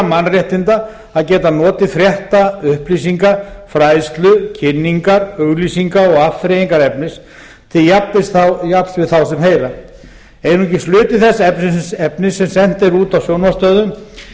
mannréttinda að geta notið frétta upplýsinga fræðslu kynningar auglýsinga og afþreyingarefnis til jafns við þá sem heyra einungis hluti þess efnis sem sent er út á sjónvarpsstöðvum